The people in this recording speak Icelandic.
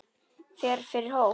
Fer fyrir hóp.